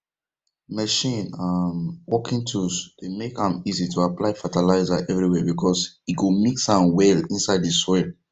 machine um working tools dey make am easy to apply fertilizer everywere because e go mix am well inside the soil